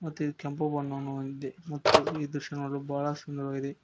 ಮತ್ತ ಇದ ಕೆಂಪು ಬಣ್ಣವನ್ನು ಹೊಂದಿದೆ ಮತ್ತು ಈ ದೃಶ್ಯ ನೋಡಲು ಬಹಳ ಸುಂದರವಾಗಿದೆ.